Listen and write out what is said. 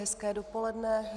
Hezké dopoledne.